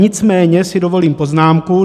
Nicméně si dovolím poznámku.